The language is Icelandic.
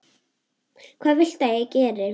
Hvað viltu að ég geri?